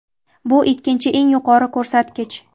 Bu – ikkinchi eng yuqori ko‘rsatkich.